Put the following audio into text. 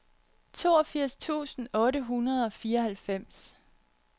toogfirs tusind otte hundrede og fireoghalvfems